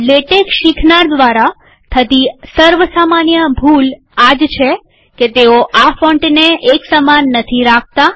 LaTeX શીખનાર દ્વારા થતી સર્વ સામાન્ય ભૂલ આ જ છે કે તેઓ આ ફોન્ટને એક સમાન નથી રાખતા